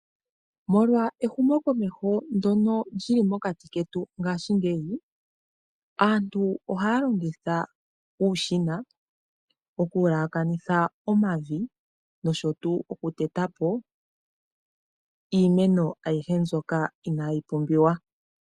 Molwa ehumo komeho ndono lili mokati ketu ngashingeyi, aantu ohaya longitha uushina oku yalakanitha omavi nosho tu oku teta po iimeno ayihe mbyoka inayi pumbiwa.